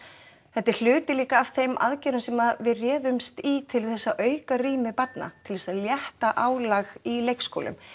þetta er hluti líka af þeim aðgerðum sem við réðumst í til þess að auka rými barna til þess að létta álag í leikskólum